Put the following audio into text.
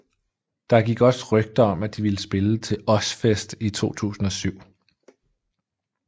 Der gik også rygter om at de ville spille til Ozzfest i 2007